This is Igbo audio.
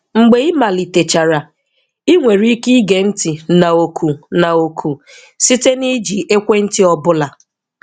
Mgbe ịgbalitechara, ị nwere ike ige ntị na oku na oku site na iji ekwentị ọ bụla.